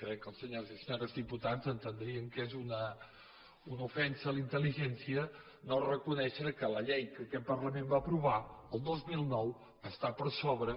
crec que els senyors i senyores diputats entendrien que és una ofensa a la intel·ligència no reconèixer que la llei que aquest parlament va aprovar el dos mil nou està per sobre